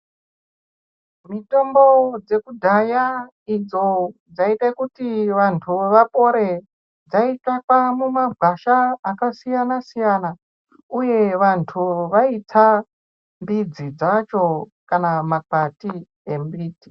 Mitombo dzekudhaya idzo dzaiite kuti vantu vapore. Dzaitsvakwa mumagwasha akasiyana-siyana, uye vantu vaitsa mbidzi dzacho kana makwati embiti.